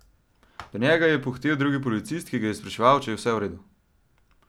Do njega je pohitel drug policist, ki ga je spraševal, če je vse v redu.